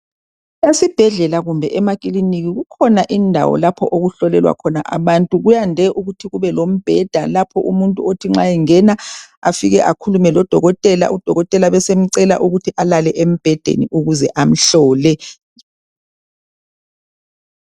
Esibhedlela kumbe emakilinika kukhona indawo lapho okuhlolelwa khona abantu kuyande ukuthi kube lombheda lapho umuntu othi nxa engena afike akhulume lodokotela udokotela abesemcela ukuthi alale embhedeni ukuze amhlole.